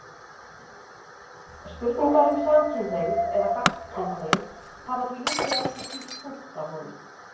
Spurningar um samkynhneigð eða gagnkynhneigð hafa því líklega ekki hvílt þungt á honum.